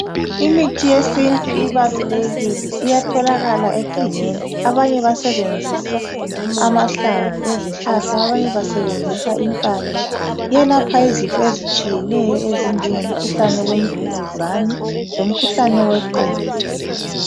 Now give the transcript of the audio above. iithi yesintu ibalulekile iyatholakala egangeni abanye basebenzisa amahlamvu ezihlahla abanye basebenzisa impande kuyelapha izifo ezitshiyeneyo ezinjengemkhuhlane yemvukuzane lomkhuhlane weqolo